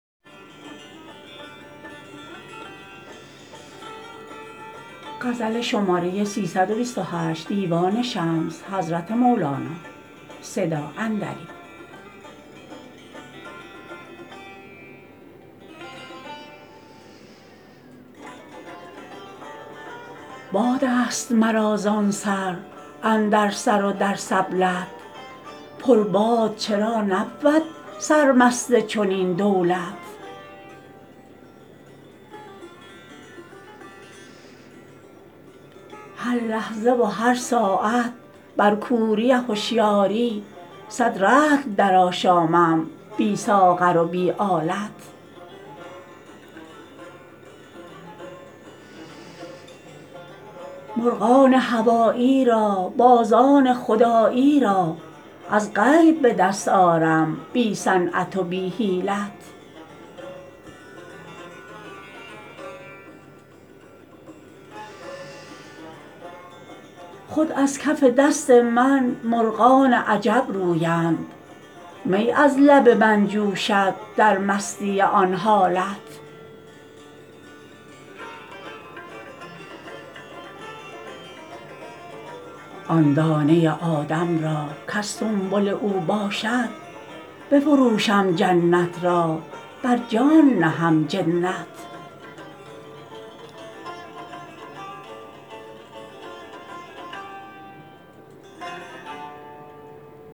بادست مرا زان سر اندر سر و در سبلت پرباد چرا نبود سرمست چنین دولت هر لحظه و هر ساعت بر کوری هشیاری صد رطل درآشامم بی ساغر و بی آلت مرغان هوایی را بازان خدایی را از غیب به دست آرم بی صنعت و بی حیلت خود از کف دست من مرغان عجب رویند می از لب من جوشد در مستی آن حالت آن دانه آدم را کز سنبل او باشد بفروشم جنت را بر جان نهم جنت